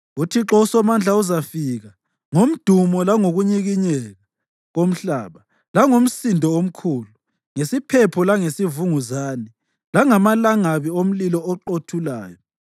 UThixo uSomandla uzafika ngomdumo langokunyikinyeka komhlaba langomsindo omkhulu; ngesiphepho langesivunguzane langamalangabi omlilo oqothulayo.